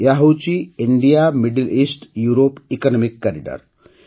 ଏହା ହେଉଛି India middle east Europe economic corridor